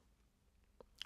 DR2